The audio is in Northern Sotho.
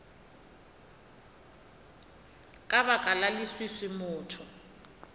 ka baka la leswiswi motho